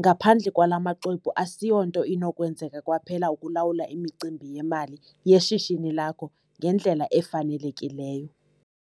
Ngaphandle kwala maxwebhu ASIYONTO INOKWENZEKA KWAPHELA ukulawula imicimbi yemali yeshishini lakho ngendlela efanelekileyo.